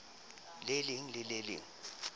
le leng le le leng